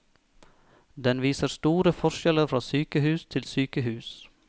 Den viser store forskjeller fra sykehus til sykehus.